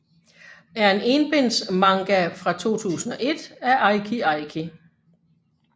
er en enbinds manga fra 2001 af Eiki Eiki